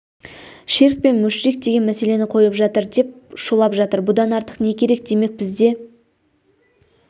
ширк пен мүшрик деген мәселені қойып жатыр деп шулап жатыр бұдан артық не керек демек бізде